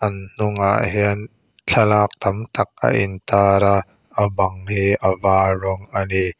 an hnungah hian thlalak tam tak a in tar a bang hi a var rawng ani.